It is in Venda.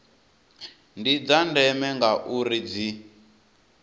ndi dza ndeme ngauri dzi